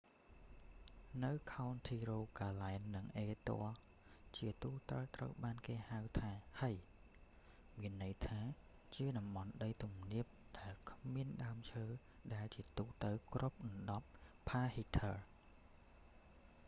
នៅខោនធីរូហ្គាឡែន និងអេឌ័រ ជាទូទៅត្រូវបានគេហៅថា hei មានន័យថាជាតំបន់ដីទំនាបដែលគ្មានដើមឈើ ដែលជាទូទៅគ្របដណ្តប់ផ្កាហីធើ heather